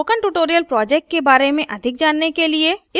spoken tutorial project के बारे में अधिक जानने के लिए